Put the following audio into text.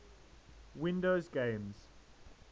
windows games